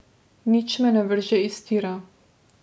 Nič me ne vrže iz tira.